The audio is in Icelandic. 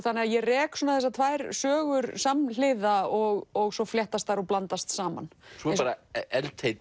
þannig að ég rek þessar tvær sögur samhliða og svo fléttast þær og blandast saman svo